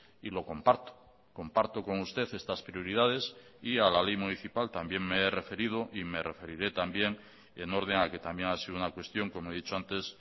y lo comparto comparto con usted estas prioridades y a la ley municipal también me he referido y me referiré también en orden a que también ha sido una cuestión como he dicho antes